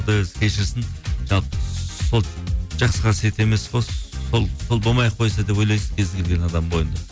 құдай өзі кешірсін жалпы сол жақсы қасиет емес қой сол болмай ақ қойса деп ойлайсың кез келген адамның бойында